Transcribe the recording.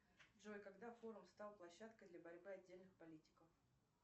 джой когда форум стал площадкой для борьбы отдельных политиков